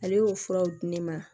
Ale y'o furaw di ne ma